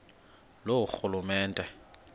loorhulumente